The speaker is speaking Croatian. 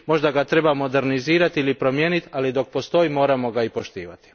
Možda ga treba modernizirati ili promijeniti, ali dok postoji moramo ga i poštovati.